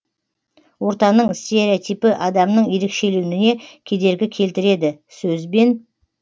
ортаның стереотипі адамның ерекшеленуіне кедергі келтіреді сөзбен